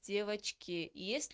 девочки есть